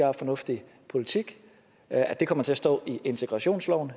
er fornuftig politik at der kommer til at stå i integrationsloven